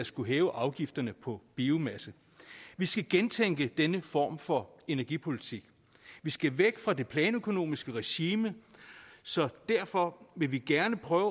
skulle hæve afgifterne på biomasse vi skal gentænke denne form for energipolitik vi skal væk fra det planøkonomiske regime så derfor vil vi gerne prøve